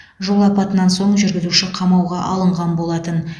жол апатынан соң жүргізуші қамауға алынған болатын